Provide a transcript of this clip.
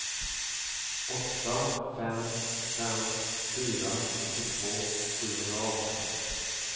åtta fem fem fyra fyrtiotvå sjuhundraarton